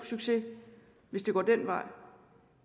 succes hvis det går den vej